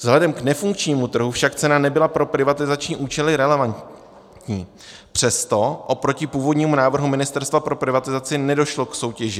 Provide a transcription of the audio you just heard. Vzhledem k nefunkčnímu trhu však cena nebyla pro privatizační účely relevantní, přesto oproti původnímu návrhu Ministerstva pro privatizaci nedošlo k soutěži.